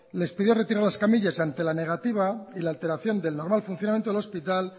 les pidió retirar las camillas y ante la negativa y la alteración del normal funcionamiento del hospital